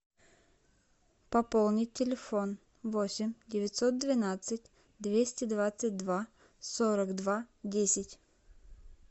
пополнить телефон восемь девятьсот двенадцать двести двадцать два сорок два десять